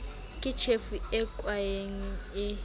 ke tjhefo e kwaeng e